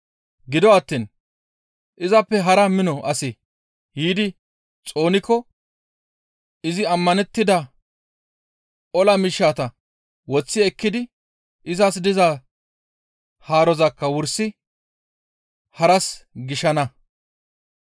Gido attiin izappe hara mino asi yiidi xoonikko izi ammanettida ola miishshata woththi ekkidi izas diza haarozakka wursi haras gishana.